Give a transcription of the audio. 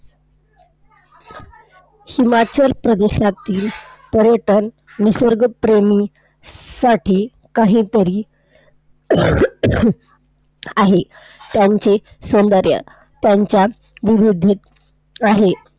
हिमाचल प्रदेशातील पर्यटन निसर्गप्रेमींसाठी काहीतरी आहे. त्यांचे सौंदर्य त्यांच्या विविधतेत आहे.